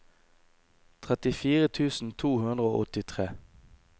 trettifire tusen to hundre og åttitre